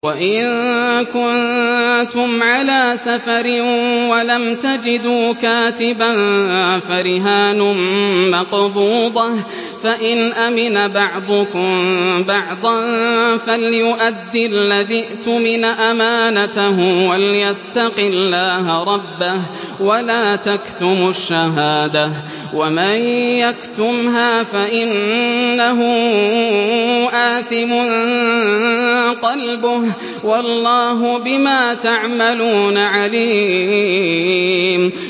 ۞ وَإِن كُنتُمْ عَلَىٰ سَفَرٍ وَلَمْ تَجِدُوا كَاتِبًا فَرِهَانٌ مَّقْبُوضَةٌ ۖ فَإِنْ أَمِنَ بَعْضُكُم بَعْضًا فَلْيُؤَدِّ الَّذِي اؤْتُمِنَ أَمَانَتَهُ وَلْيَتَّقِ اللَّهَ رَبَّهُ ۗ وَلَا تَكْتُمُوا الشَّهَادَةَ ۚ وَمَن يَكْتُمْهَا فَإِنَّهُ آثِمٌ قَلْبُهُ ۗ وَاللَّهُ بِمَا تَعْمَلُونَ عَلِيمٌ